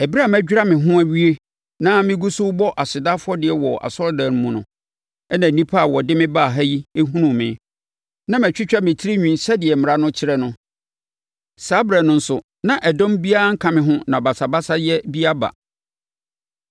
Ɛberɛ a madwira me ho awie na megu so rebɔ aseda afɔdeɛ wɔ asɔredan no mu no, na nnipa a wɔde me baa ha yi hunuu me. Na matwitwa me tirinwi sɛdeɛ mmara no kyerɛ no. Saa ɛberɛ no nso na dɔm biara nka me ho na basabasayɛ bi aba.